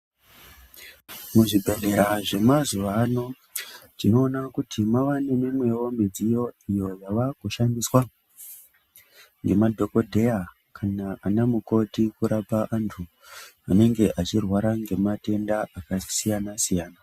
Muzvibhedhlera zvemazuwa ano tinoona kuti mwava nemimwewo midziyo, iyo yavakushandiswa, ngemadhokodheya ,kana vanamukoti ,kurapa antu, anenge achirwara ngematenda akasiyana-siyana.